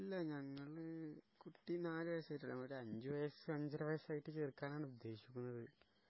ഇല്ല ഞങ്ങള് കുട്ടി നാല് വയസ്സായിട്ടുള്ളൂ ഒരു അഞ്ചു വയസ്സ് അഞ്ചര വയസ്സായിട്ട് ചേർക്കാനാണ് ഉദ്ദേശിക്കുന്നത്